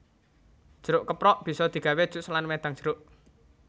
Jeruk keprok bisa digawé jus lan wedang jeruk